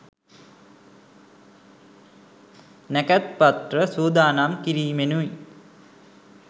නැකැත් පත්‍ර සූදානම් කිරීමෙනුයි.